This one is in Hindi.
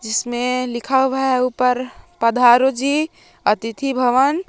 इसमें लिखा हुआ है ऊपर पधारो जी अतिथि भवन।